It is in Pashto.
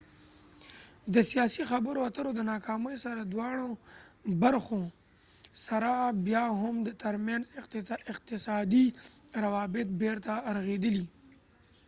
د سیاسي خبرو اترو د ناکامۍ سره سره بیا هم د maldova د دواړو برخو تر منځ اقتصادي روابط بیرته رغیدلي